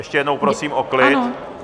Ještě jednou prosím o klid.